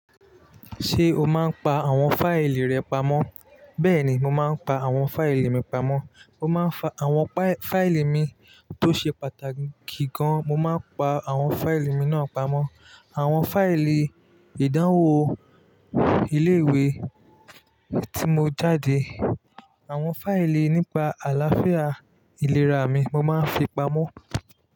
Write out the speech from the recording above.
Ṣé o máa ń pa àwọn fáìlì rẹ pamọ́? Bẹ́ẹ̀ ni, mo máa ń pa àwọn fáìlì mi pamọ́. Mo máa ń fa àwọn fáìlì mi tó ṣe pàtàkì gan, mo máa ń pa àwọn fáìlì mi náà pamọ́. Àwọn fáìlì ìdánwò ilé ìwé tí mo jáde, àwọn fáìlì nípa àlàáfíà ìlera mi mo máa ń fi pamọ́